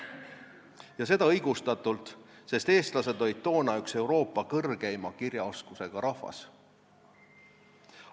Ja seda õigustatult, sest eestlased olid toona üks Euroopa kõrgeima kirjaoskusega rahvas.